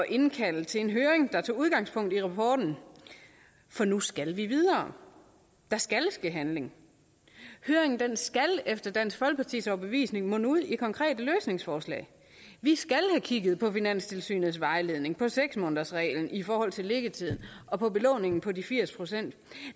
indkalde til en høring der tog udgangspunkt i rapporten for nu skal vi videre der skal ske handling høringen skal efter dansk folkepartis overbevisning munde ud i konkrete løsningsforslag vi skal have kigget på finanstilsynets vejledning på seks månedersreglen i forhold til liggetiden og på belåningen på de firs procent